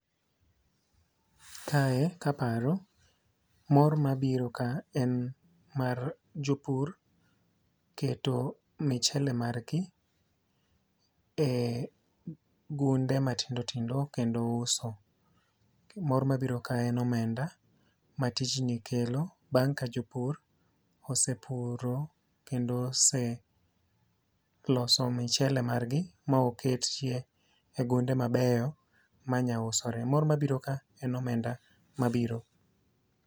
Kae kaparo mor mabiro ka en mar jopur keto michele mar gi e gunde matindo tindo kendo uso. Mor mabiro ka en omenda ma tij ni kelo bang' ka jopur osepuro kendo ose loso michele mar gi ma oketie ogunde mabeyo manya usore. Mor mabiro ka en omenda mabiro.